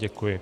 Děkuji.